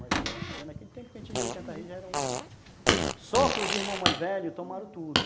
Mais ou menos. Tinha naquele tempo, quem a gente tinha oitenta reses já era um... Só que os irmãos mais velhos tomaram tudo.